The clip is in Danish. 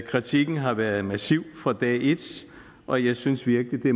kritikken har været massiv fra dag et og jeg synes virkelig